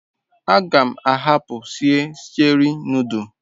A gam ahapu sie Cheri nodul